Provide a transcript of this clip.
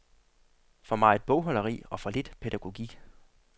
For meget bogholderi og for lidt pædagogik.